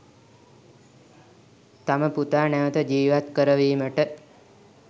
තම පුතා නැවත ජීවත් කරවීමට